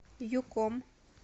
юком